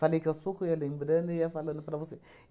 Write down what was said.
Falei que aos poucos eu ia lembrando e ia falando para você.